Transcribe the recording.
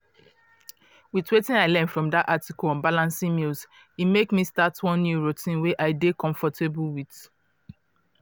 with wetin i learn from dat article on balancing meals e make me start one new routine wey i dey comfortable with.